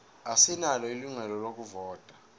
asinalo ilungelo lokuvota